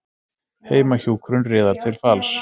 Heimahjúkrun riðar til falls